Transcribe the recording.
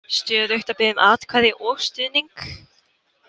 Stöðugt að biðja um atkvæði og stuðning?